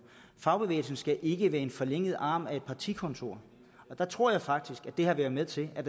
fagbevægelsen skal ikke være en forlænget arm for et partikontor og der tror jeg faktisk at det har været med til at